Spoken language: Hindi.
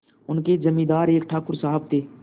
उनके जमींदार एक ठाकुर साहब थे